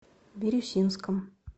бирюсинском